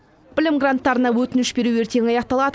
білім гранттарына өтініш беру ертең аяқталады